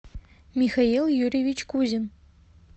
михаил юрьевич кузин